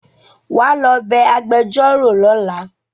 wá ló bé agbejoro lọla